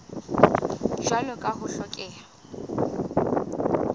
jwalo ka ha ho hlokeha